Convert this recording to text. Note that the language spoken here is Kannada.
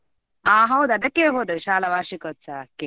ಆ ಹೌದು ಅದಕ್ಕೆವೆ ಹೋದದ್ದು ಶಾಲಾ ವಾರ್ಷಿಕೋತ್ಸವಕ್ಕೆ.